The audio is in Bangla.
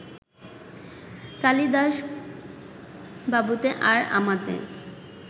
কালিদাসবাবুতে আর আমাতে